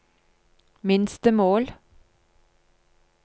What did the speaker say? minstemål